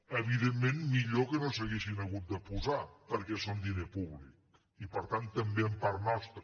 evidentment millor que no s’haguessin hagut de posar perquè són diner públic i per tant també en part nostre